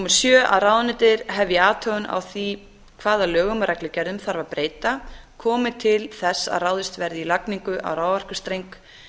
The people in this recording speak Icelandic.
sjöunda að ráðuneytið hefji athugun á því hvaða lögum og reglugerðum þarf að breyta komi til þess að ráðist verði í lagningu á raforkustreng